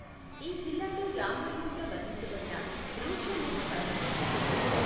ఈ జిల్లాలో రామాయణంలో వర్ణించబడిన ౠష్యమూక పర్వతం ఉంది.